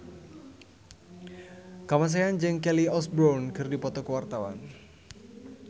Kamasean jeung Kelly Osbourne keur dipoto ku wartawan